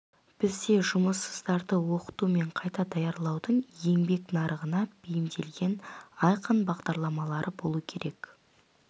бізде жұмыссыздарды оқыту мен қайта даярлаудың еңбек нарығына бейімделген айқын бағдарламалары болуы керек